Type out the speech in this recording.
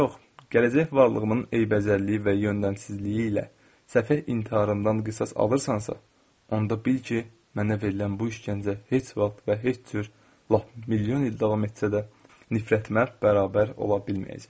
Yox, gələcək varlığımın eybəcərliyi və yöndənsizliyi ilə səfeh intiharından qisas alırsansa, onda bil ki, mənə verilən bu işgəncə heç vaxt və heç cür lap milyon il davam etsə də, nifrətimə bərabər ola bilməyəcək.